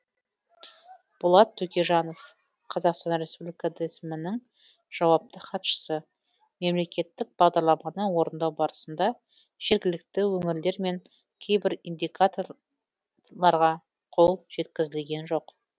болат төкежанов қазақстан республика дсм нің жауапты хатшысы мемлекеттік бағдарламаны орындау барысында жергілікті өңірлер мен кейбір индикаторларға қол жеткізілген жоқ